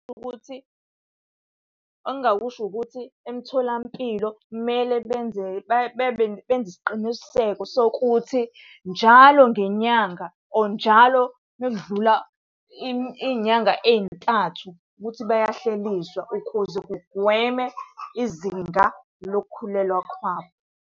Ukuthi engingakusho ukuthi emtholampilo kumele benze bebe benze isiqiniseko sokuthi njalo ngenyanga, or njalo uma kudlula iy'nyanga ey'ntathu, ukuthi bayahleliswa ukuze kugwemwe izinga lokukhulelwa kwabo.